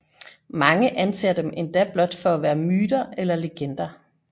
Mange anser dem endda blot for at være myter eller legender